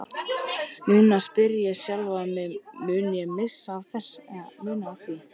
Núna spyr ég sjálfan mig, mun ég missa af því?